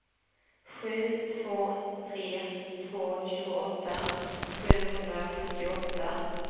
sju två tre två tjugoåtta sjuhundrasjuttioåtta